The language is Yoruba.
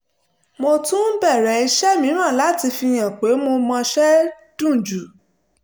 mo tún bẹ̀rẹ̀ iṣẹ́ mìíràn láti fi hàn pé mo mọṣẹ́ dunjú